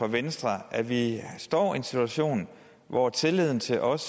venstre at vi står i en situation hvor tilliden til os